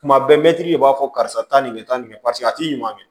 Tuma bɛɛ mɛtiri de b'a fɔ karisa taa nin kɛ tan nin paseke a t'i ɲuman kɛ